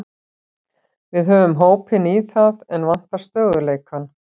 Við höfum hópinn í það, en vantar stöðugleikann.